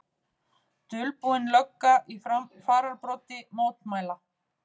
Dulbúin lögga í fararbroddi mótmæla